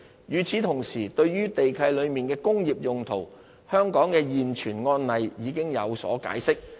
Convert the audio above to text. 與此同時，對於地契內的"工業用途"，香港的現存案例已有解釋。